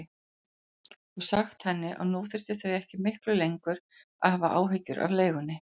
Og sagt henni að nú þyrftu þau ekki miklu lengur að hafa áhyggjur af leigunni.